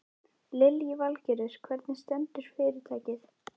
Lillý Valgerður: Hvernig stendur fyrirtækið?